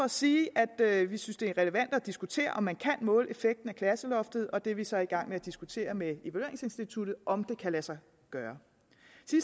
sige at vi synes det er relevant at diskutere om man kan måle effekten af klasseloftet og det er vi så i gang med at diskutere med evalueringsinstituttet om kan lade sig gøre